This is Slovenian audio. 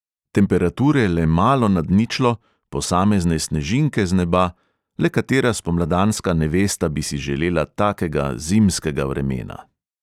Temperature le malo nad ničlo, posamezne snežinke z neba, le katera spomladanska nevesta bi si želela takega zimskega vremena?